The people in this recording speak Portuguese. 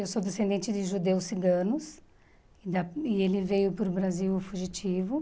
Eu sou descendente de judeus ciganos e da e ele veio para o Brasil fugitivo.